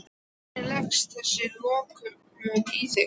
Hvernig leggst þessi lokun í þig?